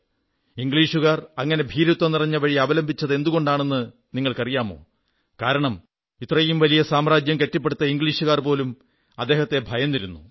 ഇംഗ്ലീഷുകാർ അങ്ങനെ ഭീരുത്വം നിറഞ്ഞ വഴി അവലംബിച്ചതെന്തുകൊണ്ടെന്ന് നിങ്ങൾക്കറിയാമോ കാരണം ഇത്രയും വലിയ സാമ്രാജ്യം കെട്ടിപ്പടുത്ത ഇംഗ്ലീഷുകാർ പോലും അദ്ദേഹത്തെ ഭയന്നിരുന്നു